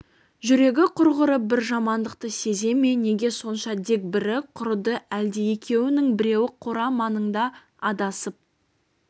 жүрегі құрғыры бір жамандықты сезе ме неге сонша дегбірі құрыды әлде екеуінің біреуі қора маңында адасып